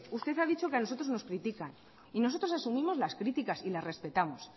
usted ha dicho que a nosotros nos critican nosotros asumimos las críticas y las respetamos